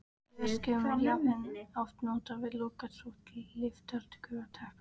Í verksmiðjum er jarðhitavatn oft notað við lokaþvott litfagurra teppa.